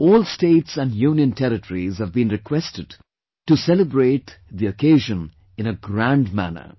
All states and Union Territories have been requested to celebrate the occasion in a grand manner